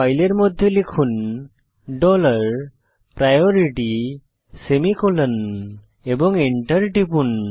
ফাইলের মধ্যে লিখুন ডলার প্রায়োরিটি সেমিকোলন এবং এন্টার টিপুন